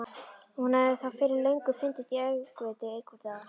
Hún hefði þá fyrir löngu fundist í öngviti einhvers staðar.